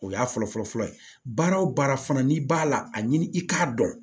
O y'a fɔlɔfɔlɔ ye baara o baara fana n'i b'a la a ɲini i k'a dɔn